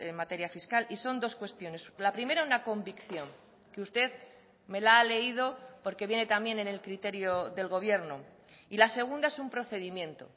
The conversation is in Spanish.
materia fiscal y son dos cuestiones la primera una convicción que usted me la ha leído porque viene también en el criterio del gobierno y la segunda es un procedimiento